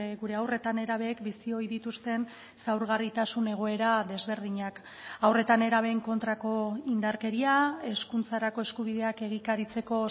gure haur eta nerabeek bizi ohi dituzten zaurgarritasun egoera desberdinak haur eta nerabeen kontrako indarkeria hezkuntzarako eskubideak egikaritzeko